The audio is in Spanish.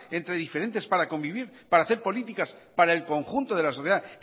entre diferentes para convivir para hacer políticas para el conjunto de la sociedad